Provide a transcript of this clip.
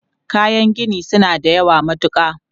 Kayan gini su na da yawa matuka.